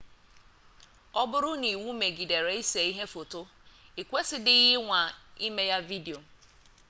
ọ bụrụ na iwu megidere ise ihe foto ikwesidighi ịnwa ime ya vidio